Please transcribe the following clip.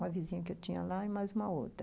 Uma vizinha que eu tinha lá e mais uma outra.